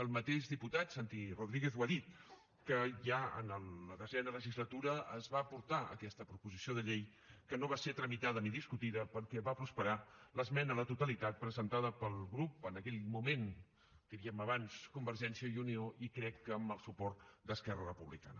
el mateix diputat santi rodríguez ho ha dit que ja en la desena legislatura es va portar aquesta proposició de llei que no va ser tramitada ni discutida perquè va prosperar l’esmena a la totalitat presentada pel grup en aquell moment diríem abans convergència i unió i crec que amb el suport d’esquerra republicana